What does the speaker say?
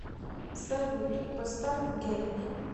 салют поставь гейби